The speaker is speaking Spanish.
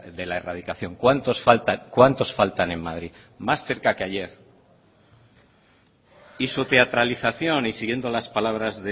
de la erradicación cuántos faltan cuántos faltan en madrid más cerca que ayer y su teatralización y siguiendo las palabras